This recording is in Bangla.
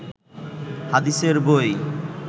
হাদিসের বই